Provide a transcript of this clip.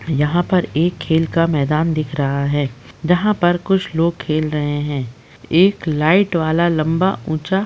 यहाँ पर एक खेल का मैदान दिख रहा है जहाँ पर कुछ लोग खेल रहे हैं। एक लाइट वाला लम्बा ऊँचा --